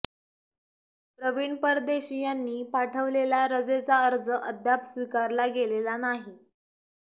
प्रवीण परदेशी यांनी पाठविलेला रजेचा अर्ज अद्याप स्विकारला गेलेला नाही